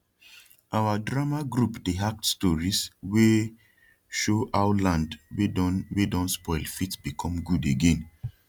our drama group dey act stories wey show how land wey don wey don spoil fit become gud again